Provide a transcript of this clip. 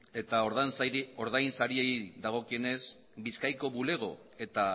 eta ordainsariei dagokionez bizkaiko bulego eta